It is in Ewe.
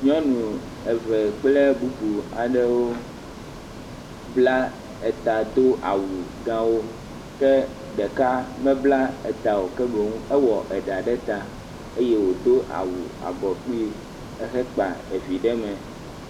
Nyɔnu eve kple bubu aɖewo bla eta do awu gãwo. Ke ɖeka mebla eta o. Ke boŋ ewɔ eɖa ɖe ta eye wòdo awu abɔ kpuie ehekpa evi ɖe mɛ.